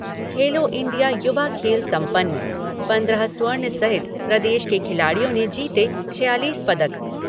खेलो India युवा खेल सम्पन्न, पंद्रह स्वर्ण सहित प्रदेश के खिलाड़ियों ने जीते छियालीस पदक।